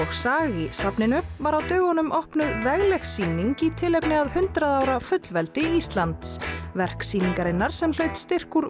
í safninu var á dögunum opnuð vegleg sýning í tilefni af hundrað ára fullveldi Íslands verk sýningarinnar sem fékk styrk úr